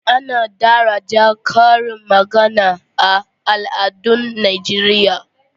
Ana daraja karin magana a al'adun Najeriya.